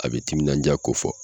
A bɛ timinan diya ko fɔ.